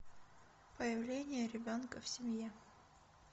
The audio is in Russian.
появление ребенка в семье